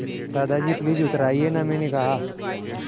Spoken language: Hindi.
दादाजी प्लीज़ उतर आइये न मैंने कहा